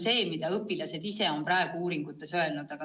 Seda on õpilased ise uuringute tegijatele öelnud.